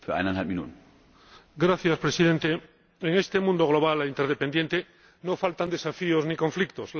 Señor Presidente, en este mundo global e interdependiente, no faltan desafíos ni conflictos.